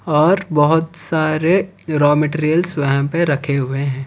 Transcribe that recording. और बहोत सारे रॉ मैटेरियल्स वहां पे रखे हुए है।